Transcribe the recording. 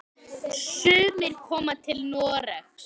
Sumir koma til Noregs.